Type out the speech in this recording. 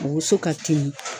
Woso ka teli.